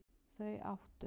Þau áttu